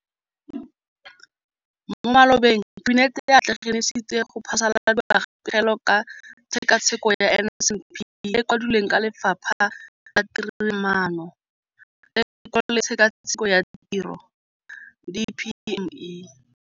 Mo malobeng Kabinete e atlenegisitse go phasaladiwa ga Pegelo ka Tshekatsheko ya NSNP e e kwadilweng ke Lefapha la Tiromaano, Tekolo le Tshekatsheko ya Tiro, DPME.